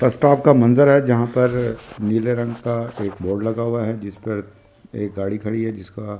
बस स्टॉप का मंजर है जहां पर नीले रंग का एक बोर्ड लगा हुआ है जिस पर एक गाड़ी खड़ी है जिसका।